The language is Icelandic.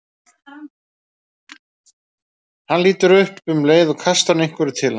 Hann lítur upp og um leið kastar hún einhverju til hans.